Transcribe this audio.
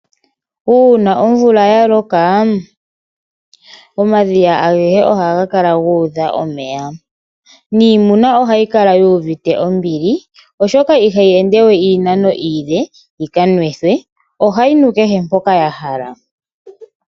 Uuna omvula ya loka omadhiya agehe ohaga kala guudha omeya. Niimuna ohayi kala yu uvite ombili ,oshoka ihayi endewe iinano iile yika nwithwe ohayi nu kehe mpoka ya hala.